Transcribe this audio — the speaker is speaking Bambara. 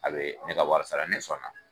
A bɛ ne ka wari sara ne sɔnna.